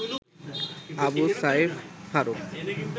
Abu Saif Faruk